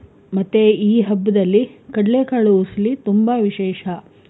ಮತ್ತೆ ಈ ಹಬ್ಬದಲ್ಲಿ ಕಡ್ಲೆ ಕಾಲು ಉಸ್ಲಿ ತುಂಬಾ ವಿಶೇಷ.